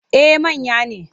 Eh manya ne.